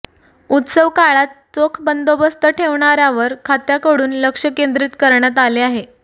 उत्सव काळात चोख बंदोबस्त ठेवण्यावर खात्याकडून लक्ष केंद्रित करण्यात आले आहे